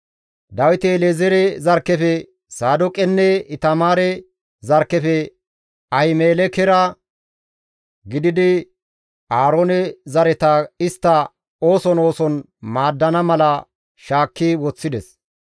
Dawiti El7ezeere zarkkefe Saadooqenne Itamaare zarkkefe Ahimelekera gididi Aaroone zareta istta ooson ooson maaddana mala shaakki woththides.